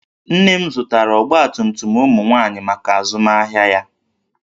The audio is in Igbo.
Nne m zụtara ọgbatumtum ụmụ nwaanyị maka azụmahịa ya